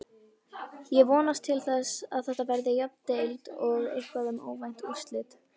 Ég vonast til þess að Þetta verði jöfn deild og eitthvað um óvænt úrslit.